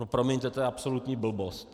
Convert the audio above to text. No promiňte, to je absolutní blbost.